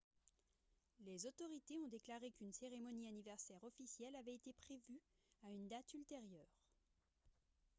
les autorité ont déclaré qu'une cérémonie anniversaire officielle avait été prévue à une date ultérieure